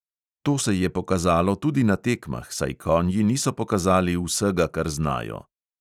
To se je pokazalo tudi na tekmah, saj konji niso pokazali vsega, kar znajo.